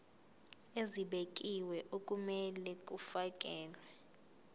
ezibekiwe okumele kufakelwe